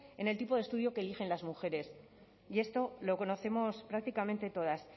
en el tipo de estudio que eligen las mujeres y esto lo conocemos prácticamente todas